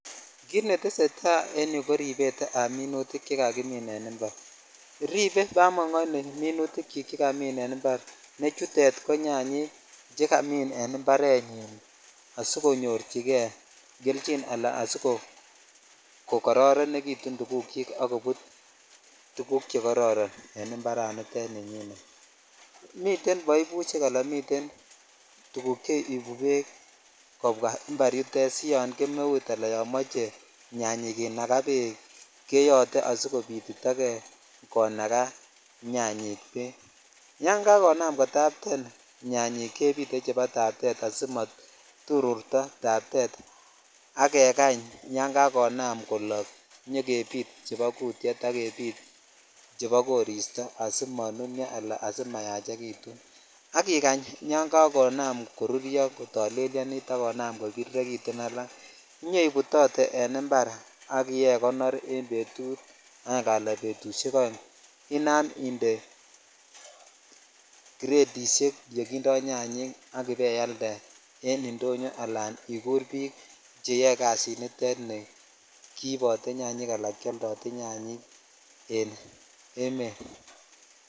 Kit netesetai en yuu ko ribset ab minutik chekakimin en impar ripe bamongo ini minutik chik chekakimin en impar ne chutet ko nyanyik chekakimin en imparenyin asikonyorchi kei kelchin alan asikokororonekitun tugukyin ak kobut tugk chekororon en imparanito ni nyinmiten boibushek ala tuguk chebiru bed kobwaa impar yutet si yon gemeut ala yo moche nyanyik kinabalu bek keyote asikobitkobitito kei konaka nyanyik bek tan kakonam kotapten nyanyik kepit chebo taptet asimoturruto taptet ak kekany kakonam kolok koyokebit fhebo kutyet ak kebit chebokoristo asimololyo ala asimayachekitun ak ikach kakonam koruryo kotollelyonit ak kobirirekitun alak inyoibutotee en impar ak ibaikonor en betut aenge ala oeng Inam indee kiretishek chekindo nyanyik ak ibaialde en indonyo ala igur bik cheyoe kasinitet kiibote nyanyik ala keoldodee nyanyik en emet.